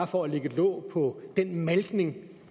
for at lægge låg på den malkning